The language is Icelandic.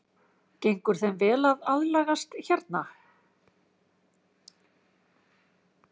Gengur þeim vel að aðlagast hérna?